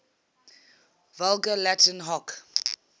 vulgar latin hoc